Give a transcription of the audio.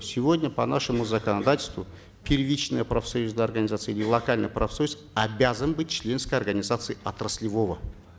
сегодня по нашему законодательству первичная профсоюзная организация или локальный профсоюз обязан быть членской организацией отраслевого